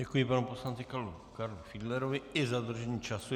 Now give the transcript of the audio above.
Děkuji panu poslanci Karlu Fiedlerovi i za dodržení času.